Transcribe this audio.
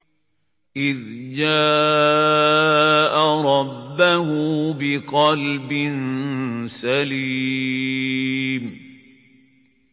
إِذْ جَاءَ رَبَّهُ بِقَلْبٍ سَلِيمٍ